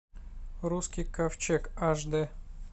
русский ковчег аш д